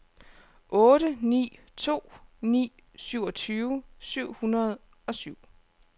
otte ni to ni syvogtyve syv hundrede og syv